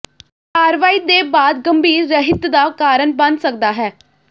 ਕਾਰਵਾਈ ਦੇ ਬਾਅਦ ਗੰਭੀਰ ਰਹਿਤ ਦਾ ਕਾਰਨ ਬਣ ਸਕਦਾ ਹੈ